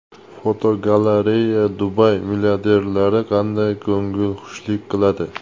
Fotogalereya: Dubay milliarderlari qanday ko‘ngilxushlik qiladi?.